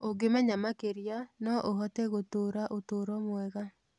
Ũngĩmenya makĩria, no ũhote gũtũũra ũtũũro mwega.